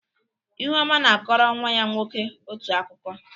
ihuoma na-akọrọ nwa ya nwoke otu akụkọ.